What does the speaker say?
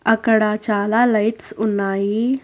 అక్కడ చాలా లైట్స్ ఉన్నాయి.